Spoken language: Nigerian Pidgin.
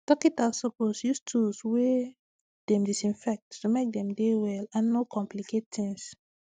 dokitas suppose use tools wey dem disinfect to make dem dey well and no complicate tings